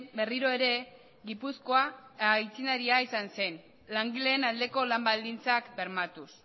berriro ere gipuzkoa aitzindaria izan zen langileen aldeko lan baldintzak bermatuz